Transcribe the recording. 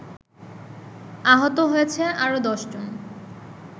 আহত হয়েছে আরো দশজন।